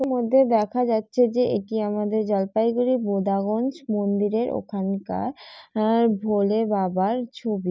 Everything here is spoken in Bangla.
এর মধ্যে দেখা যাচ্ছে যে এটি আমাদের জলপাইগুড়ি ভোদাগঞ্জ মন্দিরের ওখানকার ভোলে বাবার ছবি।